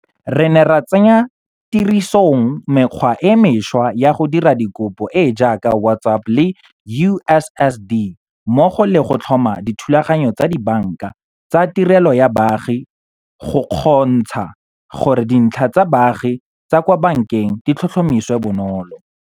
Re ne ra tsenya tirisong mekgwa e mešwa ya go dira dikopo e e jaaka WhatsApp le USSD, mmogo le go tlhoma dithulaganyo tsa dibanka tsa tirelo ya baagi go kgontsha gore dintlha tsa baagi tsa kwa bankeng di tlhotlhomisiwe bonolo.